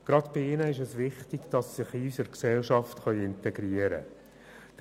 Gerade bei ihnen ist es wichtig, dass sie sich in unsere Gesellschaft integrieren können.